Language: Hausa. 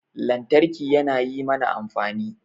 Lantarki yana yi mana amfani